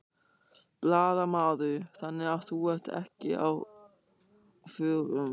Blaðamaður: Þannig að þú ert ekki á förum?